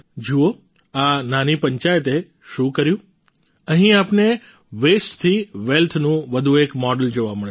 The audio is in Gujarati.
જુઓ આ નાની પંચાયતે શું કર્યું અહીં આપને વેસ્ટથી વેલ્થ નું વધુ એક મોડલ જોવા મળશે